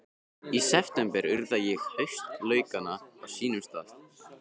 Í september urða ég haustlaukana á sínum stað.